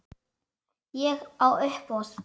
Og á uppboð.